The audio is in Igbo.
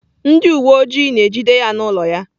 Ndị uwe ojii na-ejide ya n'ụlọ ya.